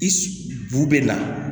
I bu na